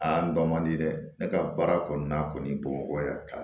Aa n dɔn man di dɛ ne ka baara kɔni na kɔni bamakɔ